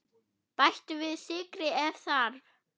Bættu við sykri ef þarf.